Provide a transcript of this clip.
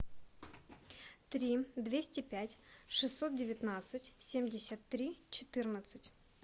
три двести пять шестьсот девятнадцать семьдесят три четырнадцать